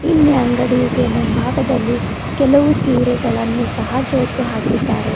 ಇಲ್ಲಿ ಅಂಗಡಿಗೆ ಮುಂಭಾಗದಲ್ಲಿ ಕೆಲವು ಸೀರೆಗಳನ್ನು ಸಹ ಜೋತು ಹಾಕಿದ್ದಾರೆ.